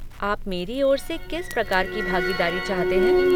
आप मेरी ओर से किस प्रकार की भागीदारी चाहते हैं।